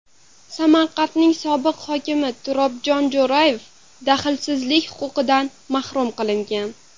Samarqandning sobiq hokimi Turobjon Jo‘rayev daxlsizlik huquqidan mahrum qilingan.